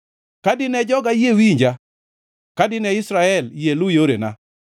“Ka dine joga yie winja, ka dine Israel yie lu yorena,